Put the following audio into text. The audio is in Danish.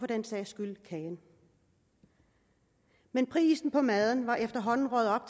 den sags skyld kagen men prisen for maden var efterhånden røget op